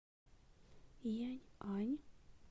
яньань